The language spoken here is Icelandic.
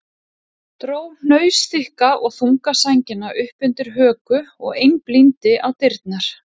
Dró hnausþykka og þunga sængina upp undir höku og einblíndi á dyrnar.